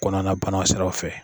Kɔnɔna na bana siraw fɛ.